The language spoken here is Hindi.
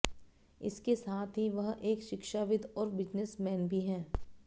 इसके साथ ही वह एक शिक्षाविद और बिजनेस मैन भी हैं